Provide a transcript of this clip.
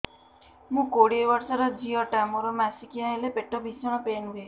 ମୁ କୋଡ଼ିଏ ବର୍ଷର ଝିଅ ଟା ମୋର ମାସିକିଆ ହେଲେ ପେଟ ଭୀଷଣ ପେନ ହୁଏ